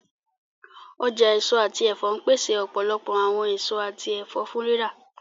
Ọja eso ati ẹfọ npese ọpọlọpọ awọn eso ati ẹfọ fun rira.